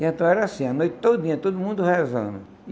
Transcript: E então era assim, a noite todinha, todo mundo rezando.